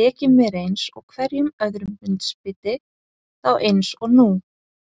tekið mér eins og hverju öðru hundsbiti, þá eins og nú.